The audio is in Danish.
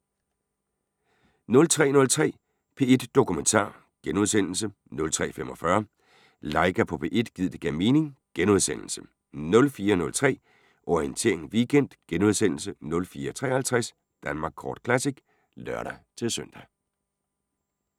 03:03: P1 Dokumentar * 03:45: Laika på P1 – gid det gav mening * 04:03: Orientering Weekend * 04:53: Danmark Kort Classic (lør-søn)